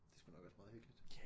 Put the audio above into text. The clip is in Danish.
Det er sgu nok også meget hyggeligt